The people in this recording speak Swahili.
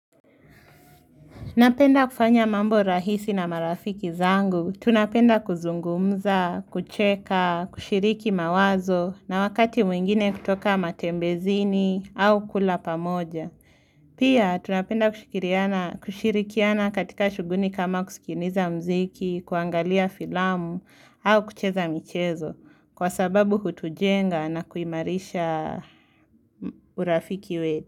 Napenda kufanya mambo rahisi na marafiki zangu, tunapenda kuzungumza, kucheka, kushiriki mawazo na wakati mwingine kutoka matembezini au kula pamoja. Pia, tunapenda kushikiriana kushirikiana katika shughuli kama kusikiliza mziki, kuangalia filamu au kucheza michezo kwa sababu hutujenga na kuimarisha urafiki we.